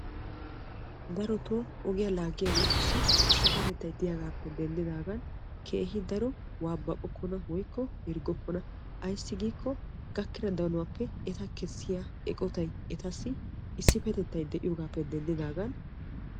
Darotto ogiya laagiyagettussi issipettattay de'iyo gishawu keehi daro yayyokkonanne waabaqokkonna ayssi giikko etta danuwappe kessiya issipetettay de'iyo gishawu.